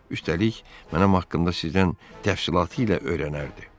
Üstəlik, mənim haqqımda sizdən təfərrüatıyla öyrənərdi."